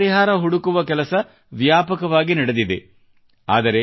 ಇದಕ್ಕೆ ಪರಿಹಾರ ಹುಡುಕುವ ಕೆಲಸ ವ್ಯಾಪಕವಾಗಿ ನಡೆದಿದೆ